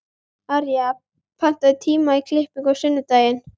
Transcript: Arja, pantaðu tíma í klippingu á sunnudaginn.